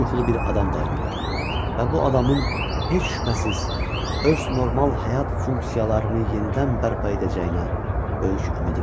Yumyuxulu bir adam dayanıb və bu adamın heç şübhəsiz öz normal həyat funksiyalarını yenidən bərpa edəcəyinə böyük ümidi var.